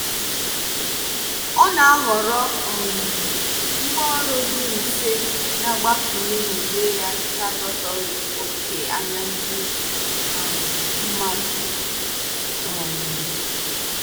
ọ na-ahọrọ um ngwaọrụ dị mfe na-agbakwụnye n'uwe ya n'adọtaghị oke anya ndi um mmadu. um